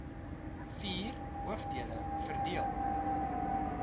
vier hoofdele verdeel